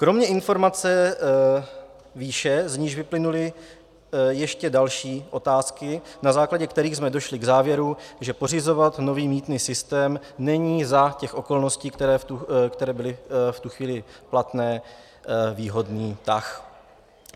Kromě informace výše, z níž vyplynuly ještě další otázky, na základě kterých jsme došli k závěru, že pořizovat nový mýtný systém není za těch okolností, které byly v tu chvíli platné, výhodný tah.